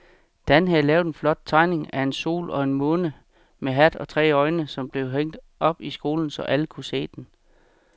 Dan havde lavet en flot tegning af en sol og en måne med hat og tre øjne, som blev hængt op i skolen, så alle kunne se den.